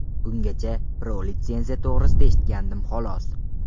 Bungacha Pro litsenziyasi to‘g‘risida eshitgandim, xolos.